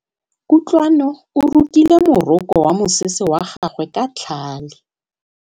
Kutlwanô o rokile morokô wa mosese wa gagwe ka tlhale.